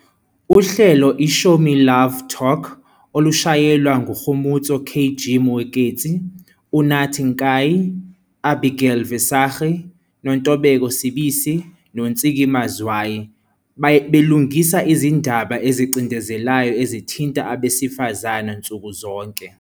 Uhlelo i-Show Me Love - Talk olushayelwa nguKgomotso "KG" Moeketsi, Unathi Nkayi, Abigail Visagie, Nontobeko Sibisi noNtsiki Mazwai, belungisa izindaba ezicindezelayo ezithinta abesifazane nsuku zonke.